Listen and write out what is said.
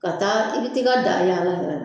Ka taa i bɛ taa i ka daa yaala yɛrɛ